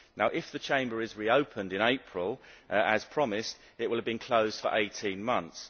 If the Chamber is reopened in April, as promised, it will have been closed for 18 months.